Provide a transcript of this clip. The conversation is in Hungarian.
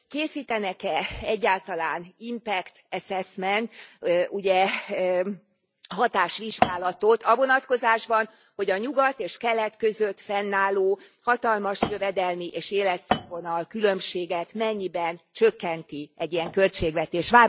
Készítenek e egyáltalán impact assessmentet, hatásvizsgálatot a vonatkozásban, hogy a nyugat és kelet között fennálló hatalmas jövedelmi és életszínvonal különbséget mennyiben csökkenti egy ilyen költségvetés.